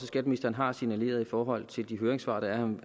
skatteministeren har signaleret i forhold til de høringssvar der er